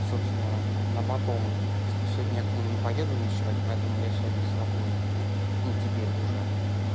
собственно на потом типа сегодня я к ней не поеду ночевать поэтому я сегодня свободен ну теперь уже